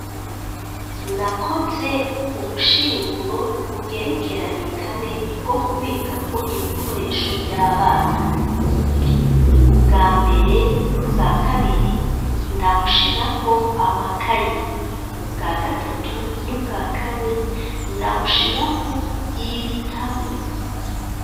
Nakoze ubushinguro bugerekeranye kane bwo kubikako ibikoresho vy'abana, ubwa mbere n'ubwa kabiri ndabushirako amakayi, ubwa gatatu n'ubwa kane ndabushiraku ibitabu.